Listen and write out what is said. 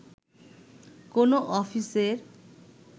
কোনো অফিসের